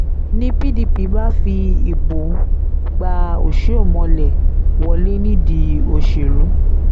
ni pdp bá fi ìbò gba ọsihomhole wọlé nídìí òṣèlú